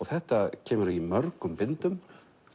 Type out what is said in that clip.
þetta kemur í mörgum bindum